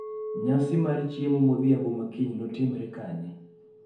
nyasi mar chiemo modhiambo ma kiny notimre kanye?